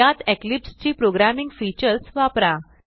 यात इक्लिप्स ची programming features वापरा